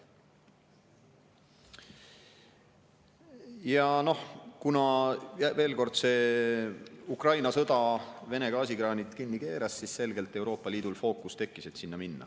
Ja noh, kuna Ukraina sõda Vene gaasikraanid kinni keeras, siis selgelt Euroopa Liidul tekkis fookus, et sinna minna.